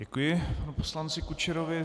Děkuji panu poslanci Kučerovi.